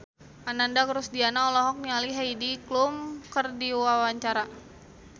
Ananda Rusdiana olohok ningali Heidi Klum keur diwawancara